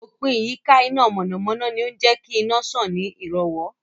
Òpìn ìyíká iná mọ̀nàmọ̀nà ni ó ń jẹ́kí iná sàn ní ìrọ̀wọ́